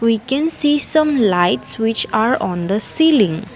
We can see some lights which are on the ceiling.